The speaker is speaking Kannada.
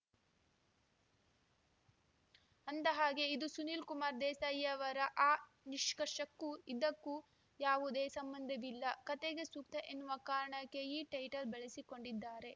ಅಂದಹಾಗೆ ಇದು ಸುನಿಲ್‌ಕುಮಾರ್‌ ದೇಸಾಯಿ ಅವರ ಆ ನಿಷ್ಕರ್ಷಕ್ಕೂ ಇದಕ್ಕೂ ಯಾವುದೇ ಸಂಬಂಧವಿಲ್ಲ ಕತೆಗೆ ಸೂಕ್ತ ಎನ್ನುವ ಕಾರಣಕ್ಕೆ ಈ ಟೈಟಲ್‌ ಬಳಸಿಕೊಂಡಿದ್ದಾರೆ